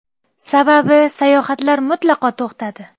Sababi, sayohatlar mutlaqo to‘xtadi.